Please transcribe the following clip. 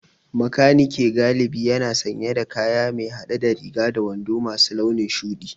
Makaniki galibi yana sanye da kaya mai hade da riga da wando masu launin shudi